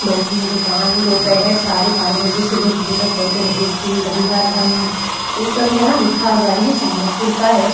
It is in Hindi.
दोप दूकान दोपहर साड़ेबारा बजे से दो बजे तक बंद रहेगी रविवार बंद ये सब यहाँ लिखा हुआ है ये चंद्रपुर का है।